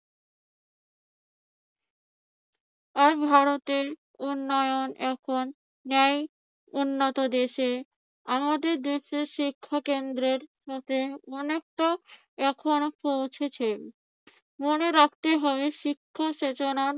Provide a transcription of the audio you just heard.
আর ভারতের উন্নয়ন এখন ন্যায় উন্নত দেশে আমাদের দেশের শিক্ষা কেন্দ্রের মতে অনেকটা এখনো পৌঁছেছে। মনে রাখতে হবে শিক্ষা চেতনার